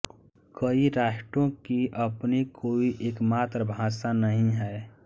कई राष्ट्रों की अपनी कोई एकमात्र भाषा नहीं है